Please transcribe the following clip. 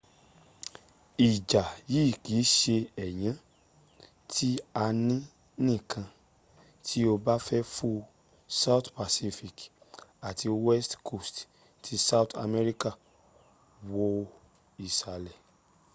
ìjà yìí kì ń ṣe ẹ̀yán tí a ní nìkan tí o bá fẹ́ fo south pacific àti west coast ti south amerika. wo ìsàlẹ̀